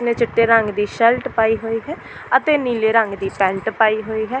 ਨੇ ਚੁੱਟੇ ਰੰਗ ਦੀ ਸ਼ਰਟ ਪਾਈ ਹੋਈ ਹੈ ਅਤੇ ਨੀਲੇ ਰੰਗ ਦੀ ਪੈਂਟ ਪਾਈ ਹੋਈ ਹੈ।